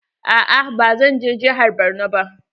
Aa ba zan je jihar Borno ba.